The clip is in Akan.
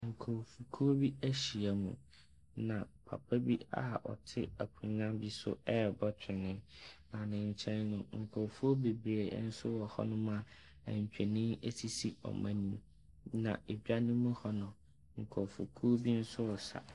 Nkrɔfokuo bi ahyiam, na papa bi a ɔte akonnwa bi so rebɔ twene. Na ne nkyɛn no, nkrɔfoɔ bebree nso wɔ hɔnom a ntwene sisi wɔn anim. Na edwam hɔ no, nkrɔfokuo bi nso resa.